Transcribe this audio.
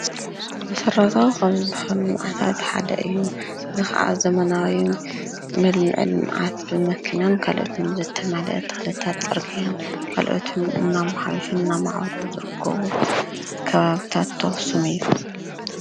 መሰረታዊ ካብ ዝባሃሉ ልምዓታት ሓደ እዩ፡፡ እዚ ኸኣ ዘመናዊ መልምዒ ልምዓት ብመኪናን ካልኦትን ዝተማልአ ተኽልታት ፅርግያን ካልኦትንእናማሓየሹን እናማዕበሉን ዝርከቡ ከባብታት ተወሰኑ አዮም፡፡